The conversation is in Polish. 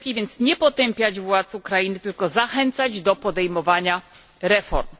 Lepiej więc nie potępiać władz Ukrainy, tylko zachęcać do podejmowania reform.